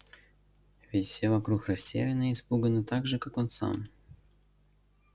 ведь все вокруг растеряны и испуганы так же как он сам